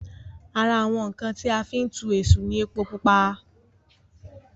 ara àwọn ǹkan tí a fí ń tu èṣù ní epo pupa